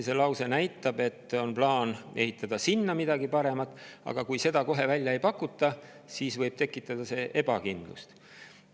See lause näitab, et plaanis on ehitada sinna midagi paremat, aga kui seda kohe välja ei pakuta, siis võib see tekitada ebakindlust.